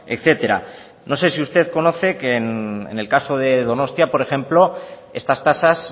etcétera no sé si usted conoce que en el caso de donostia por ejemplo estas tasas